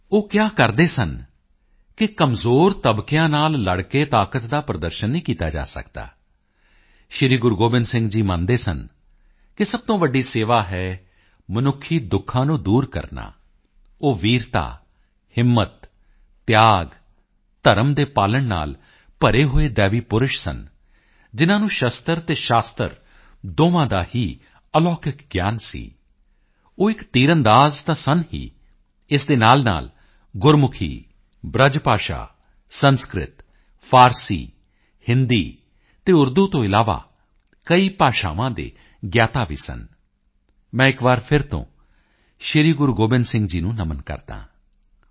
ਉਹ ਕਿਹਾ ਕਰਦੇ ਸਨ ਕਿ ਕਮਜ਼ੋਰ ਤਬਕਿਆਂ ਨਾਲ ਲੜ ਕੇ ਤਾਕਤ ਦਾ ਪ੍ਰਦਰਸ਼ਨ ਨਹੀਂ ਕੀਤਾ ਜਾ ਸਕਦਾ ਸ੍ਰੀ ਗੁਰੂ ਗੋਬਿੰਦ ਸਿੰਘ ਜੀ ਮੰਨਦੇ ਸਨ ਕਿ ਸਭ ਤੋਂ ਵੱਡੀ ਸੇਵਾ ਹੈ ਮਨੁੱਖੀ ਦੁੱਖਾਂ ਨੂੰ ਦੂਰ ਕਰਨਾ ਉਹ ਵੀਰਤਾ ਹਿੰਮਤ ਤਿਆਗ ਧਰਮ ਦੇ ਪਾਲਣ ਨਾਲ ਭਰੇ ਹੋਏ ਦੈਵੀ ਪੁਰਸ਼ ਸਨ ਜਿਨ੍ਹਾਂ ਨੂੰ ਸ਼ਸਤਰ ਅਤੇ ਸ਼ਾਸਤਰ ਦੋਹਾਂ ਦਾ ਹੀ ਅਲੌਕਿਕ ਗਿਆਨ ਸੀ ਉਹ ਇੱਕ ਤੀਰਅੰਦਾਜ਼ ਤਾਂ ਸਨ ਹੀ ਇਸ ਦੇ ਨਾਲਨਾਲ ਗੁਰਮੁਖੀ ਬ੍ਰਜ ਭਾਸ਼ਾ ਸੰਸਕ੍ਰਿਤ ਫਾਰਸੀ ਹਿੰਦੀ ਅਤੇ ਉਰਦੂ ਤੋਂ ਇਲਾਵਾ ਕਈ ਭਾਸ਼ਾਵਾਂ ਦੇ ਗਿਆਤਾ ਵੀ ਸਨ ਮੈਂ ਇੱਕ ਵਾਰ ਫਿਰ ਤੋਂ ਸ੍ਰੀ ਗੁਰੂ ਗੋਬਿੰਦ ਸਿੰਘ ਜੀ ਨੂੰ ਨਮਨ ਕਰਦਾ ਹਾਂ